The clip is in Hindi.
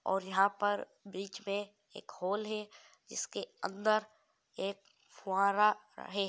और यहाँ पर बिच मै एक हॉल है जिसके अंदर एक फुहारा है